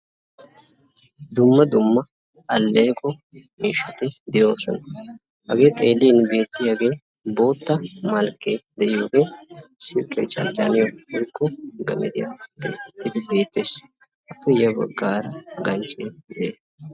Dumma dumma alleeqo miishshati de'oosona. Hagee xeelliini beettiyagee bootta malkkee de'iyogee silkkiya charjjanawu/gemediya gelidi beettees. Appe ya baggaara,,,